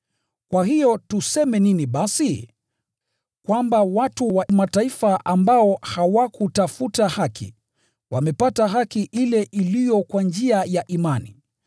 Kwa hiyo tuseme nini basi? Kwamba watu wa Mataifa ambao hawakutafuta haki, wamepata haki ile iliyo kwa njia ya imani.